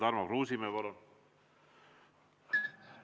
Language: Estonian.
Tarmo Kruusimäe, palun!